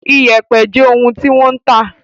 Iyẹ̀pẹ̀ jé òún ti wan tá